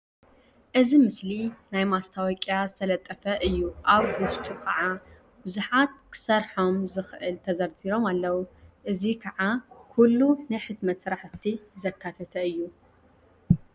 እዚ ምስሊ ናይ ማስተወቅያ ዝተለጠፈ እዩ። ኣብ ዉሽጡ ከዓ ቡዙሓት ክሰርሖም ዝኽእል ተዘርዚሮም ኣለዉ። እዙይ ከዓ ኩሉ ናይ ሕትመት ስራሕቲ ዘካተተ እዩ።